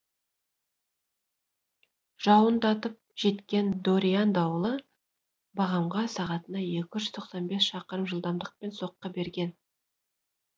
жауындатып жеткен дориан дауылы багамға сағатына екі жүз тоқсан бес шақырым жылдамдықпен соққы берген